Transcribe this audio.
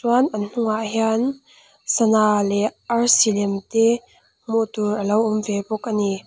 chuan an hnungah hian sana leh arsi lem te hmuh tur a lo awm ve bawk a ni.